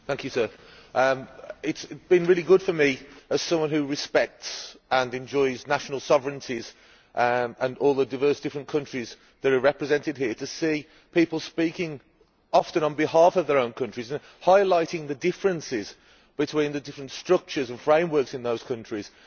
Mr President, it has been really good for me, as someone who respects and enjoys national sovereignties and all the diverse, different countries that are represented here, to see people speaking often on behalf of their own countries and highlighting the differences between the different structures and frameworks in those countries.